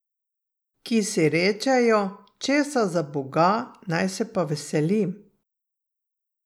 Ki si rečejo, česa za boga naj se pa veselim?